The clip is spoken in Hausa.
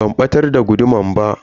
Ban batar da guduman ba.